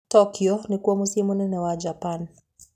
Tokyo nĩkuo mũciĩ mũnene wa Japan.